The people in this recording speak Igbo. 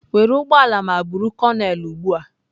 Were ụgbọ ala ma buru konel ugbu a.